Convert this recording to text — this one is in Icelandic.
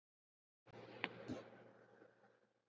Hvar sé ég mig eftir fimm ár?